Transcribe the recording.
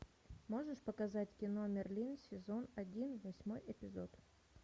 можешь показать кино мерлин сезон один восьмой эпизод